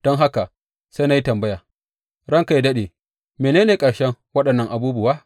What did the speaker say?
Don haka sai na yi tambaya, Ranka yă daɗe, mene ne ƙarshen waɗannan abubuwa?